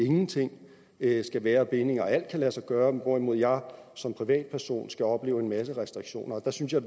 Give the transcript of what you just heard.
ikke skal være bindinger og alt kan lade sig gøre når hvorimod jeg som privatperson skal opleve en masse restriktioner der synes jeg